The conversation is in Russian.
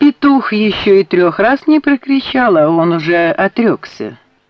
петух ещё и трёх раз не прокричал а он уже отрёкся